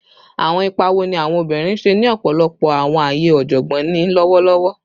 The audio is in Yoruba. Awọn ipa wo ni awọn obinrin ṣe ni ọpọlọpọ awọn aaye ọjọgbọn ni lọwọlọwọ?